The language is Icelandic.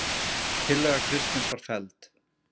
Tillaga Kristins var felld